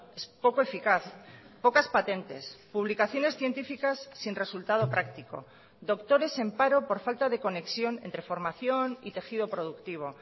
es poco eficaz pocas patentes publicaciones científicas sin resultado práctico doctores en paro por falta de conexión entre formación y tejido productivo